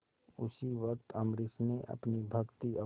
उसी वक्त अम्बरीश ने अपनी भक्ति और